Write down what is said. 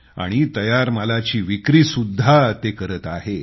आणि तयार मालाचे विपणनही ते करत आहेत